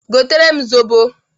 Gotere m zobo!